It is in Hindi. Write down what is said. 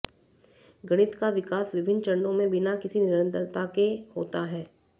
गणित का विकास विभिन्न चरणों में बिना किसी निरंतरता के होता है